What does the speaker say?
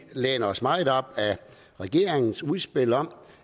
læner os meget op ad regeringens udspil om